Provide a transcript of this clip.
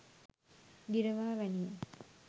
ගිරවා වැනිය